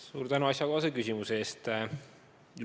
Suur tänu asjakohase küsimuse eest!